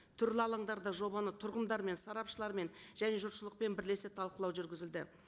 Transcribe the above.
түрлі алаңдарда жобаны тұрғындармен сарапшылармен және жұртшылықпен бірлесе талқылау жүргізілді